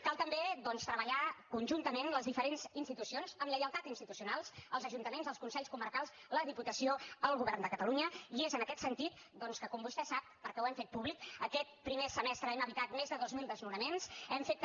cal també doncs treballar conjuntament les diferents institucions amb lleialtat institucional els ajuntaments els consells comarcals la diputació el govern de catalunya i és en aquest sentit que com vostè sap perquè ho hem fet públic aquest primer semestre hem evitat més de dos mil desnonaments hem fet també